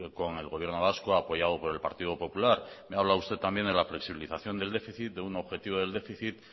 con el gobierno vasco apoyado por el partido popular me habla usted también de la flexibilización del déficit de un objetivo del déficit